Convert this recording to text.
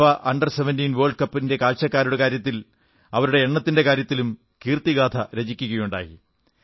FIFA under 17 world കപ്പിലെ കാണികളുടെ എണ്ണത്തിന്റെ കാര്യത്തിലും കീർത്തിഗാഥ രചിക്കയുണ്ടായി